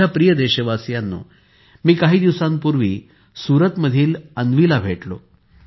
माझ्या प्रिय देशवासियांनो मी काही दिवसांपूर्वी सुरत मधील अन्वीला भेटलो